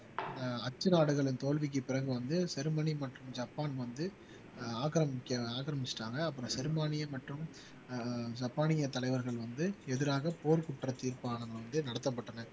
அச்சு நாடுகளின் தோல்விக்கு பிறகு வந்து ஜெர்மனி மற்றும் ஜப்பான் வந்து ஆஹ் ஆக்கிரமிக்க ஆக்கிரமிச்சிட்டாங்க அப்புறம் ஜெர்மானிய மற்றும் அஹ் ஜப்பானிய தலைவர்கள் வந்து எதிராக போர் குற்ற தீர்ப்பானது வந்து நடத்தப்பட்டன